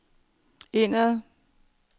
indad